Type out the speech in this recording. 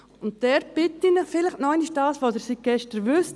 Ich bitte Sie, dabei das einzubeziehen, was Sie seit gestern wissen: